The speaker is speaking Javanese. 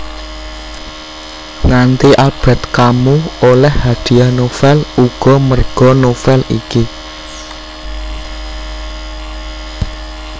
Nganti Albert Camus oleh hadiah novel uga merga novel iki